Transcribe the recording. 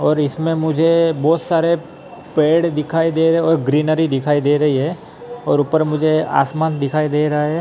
और इसमें मुझे बहोत सारे पेड़ दिखाई दे रहे और ग्रीनरी दिखाई दे रही है और ऊपर मुझे आसमान दिखाई दे रहा है।